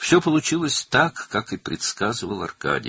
Hər şey Arkadinin proqnozlaşdırdığı kimi oldu.